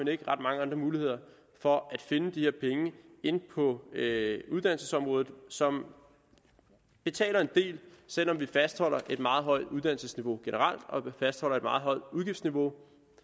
ikke ret mange andre muligheder for at finde de her på uddannelsesområdet som betaler en del selv om vi fastholder et meget højt uddannelsesniveau generelt og vi fastholder et meget højt udgiftsniveau